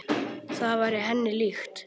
Það væri henni líkt.